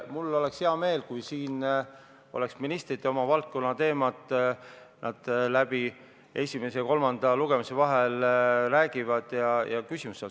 Mul oleks hea meel, kui ministrid oma valdkonna teemad esimese ja kolmanda lugemise vahel läbi räägivad ja vastavad küsimustele.